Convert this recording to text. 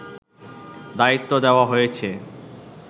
দায়িত্ব দেওয়া হয়েছে